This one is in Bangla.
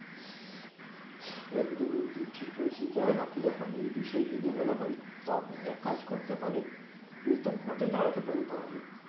একদম একদম ঠিক বলেছেন যাই হোক দেখেন এই বিষয়ে যদি বলা হয় তো আপনি এক কাজ করতে পারেন আপনি ভোট দাঁড়াতে পারেন তাহলে